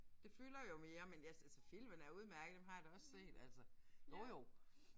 Det fylder jo mere men ja altså filmene er udemærkede dem har jeg da også set altså. Jo jo